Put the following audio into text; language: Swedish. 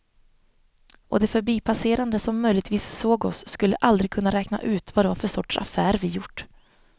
Och de förbipasserande som möjligtvis såg oss skulle aldrig kunna räkna ut vad det var för sorts affär vi gjort.